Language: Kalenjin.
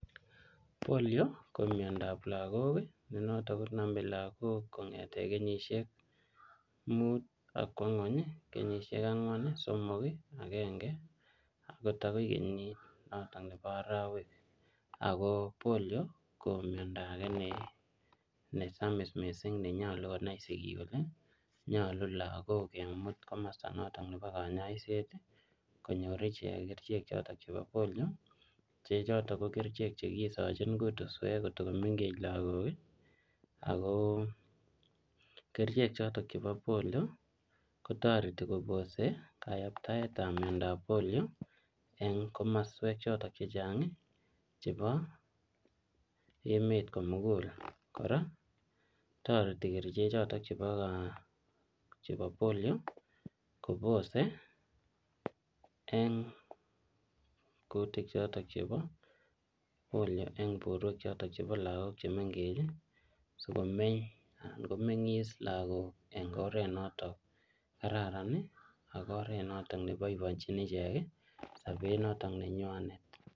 Polio ko miondab lagok ii ne noton konome lagok kong'eten kenyisiek muuu akwo nyweny ii, kenyisiek angwan, ii somok, agenge akot agoi kenyit noton nebo arowek, ako Polio ko miondo age nesamis missing nenyolu konai sigik kole nyolu lagok kimut komosto noton nebo konyoisiet nenyoru ichek kerichek choton chebo Polio, che choton ko kerichek chegisochin kutuswek kotagomeng'ech lagok ii ako kerichek choton chebo Polio kotoreti kobose koyaktaet ab miondab Polio en komoswek choton chechang' chebo emet komugul, kora toreti kerichek choton chebo Polio kobose en kutik choton chebo Polio en borwek choton chebo lagok chemeng'ech sikomeny anan komeng'is lagok en oret noton kararan ii ak oret noton neboiboenjin ichek sobet noton nenywanet.